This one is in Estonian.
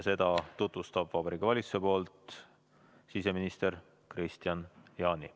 Seda tutvustab Vabariigi Valitsuse poolt siseminister Kristian Jaani.